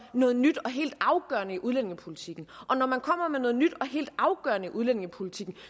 noget nyt og helt afgørende i udlændingepolitikken og når man kommer med noget nyt og helt afgørende i udlændingepolitikken